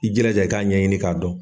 I jilaja i k'a ɲɛɲini k'a dɔn.